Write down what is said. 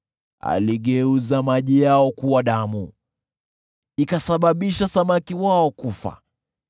Aligeuza maji yao kuwa damu, ikasababisha samaki wao kufa.